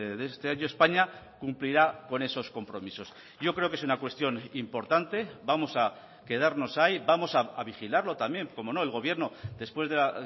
de este año españa cumplirá con esos compromisos yo creo que es una cuestión importante vamos a quedarnos ahí vamos a vigilarlo también como no el gobierno después de la